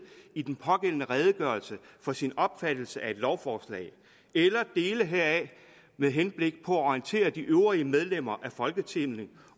i den pågældendes redegørelse for sin opfattelse af et lovforslag eller dele heraf med henblik på at orientere de øvrige medlemmer af folketinget